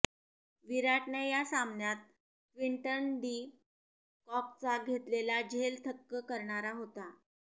विराटने या सामन्यात क्विंटन डी कॉकचा घेतलेला झेल थक्क करणारा होता